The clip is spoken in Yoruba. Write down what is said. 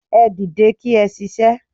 Ẹ dìde kí ẹ ṣiṣẹ́